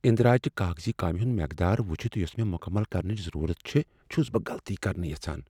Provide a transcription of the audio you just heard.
اندراج چہِ کاغذی کامِہ ہُند مقدار وچھتھ یوسہٕ مےٚ مکمل کرنٕچ ضرورت چھ، چھس بہٕ غلطی کرٕنہِ یژھان ۔